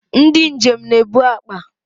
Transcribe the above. Ndị njem na-ebu akpa